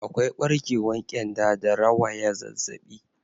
Akwai barkewan kyanda da rawaya zazzabi.